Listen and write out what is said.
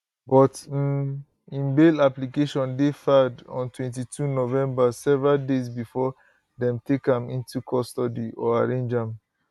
but um im bail application dey filed on 22 november several days before dem take am into custody or arraign am